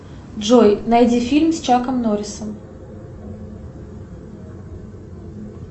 джой найди фильм с чаком норрисом